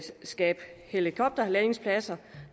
skabe helikopterlandingspladser